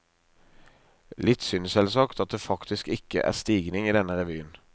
Litt synd selvsagt at det faktisk ikke er stigning i denne revyen.